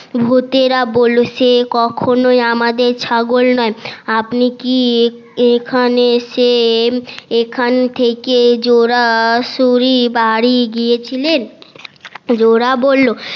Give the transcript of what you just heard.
সে কখনই আমাদের ছাগল নয় আপনি কি এখানে এসে এখান থেকে সরাসরি বাড়ি গিয়েছিলেন জোলা বললো